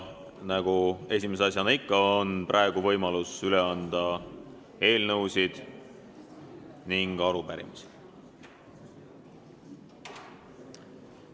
Nagu ikka, on esimese asjana võimalus üle anda eelnõusid ja arupärimisi.